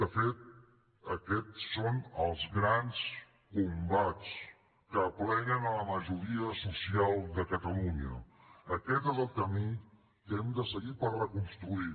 de fet aquests són els grans combats que apleguen la majoria social de catalunya aquest és el camí que hem de seguir per reconstruir